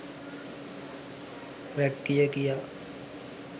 rag කිය කියා